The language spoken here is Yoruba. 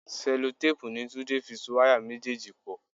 Sẹ́lótéèpu ni Túndé fi so wáyà méjèèjì pò.